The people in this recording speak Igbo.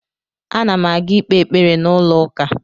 Ana m aga ikpe ekpere n’ụlọ ụka